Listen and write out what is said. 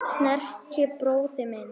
Sterki bróðir minn.